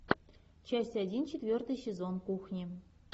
часть один четвертый сезон кухни